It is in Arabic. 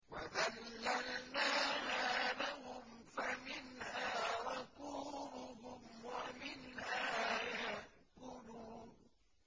وَذَلَّلْنَاهَا لَهُمْ فَمِنْهَا رَكُوبُهُمْ وَمِنْهَا يَأْكُلُونَ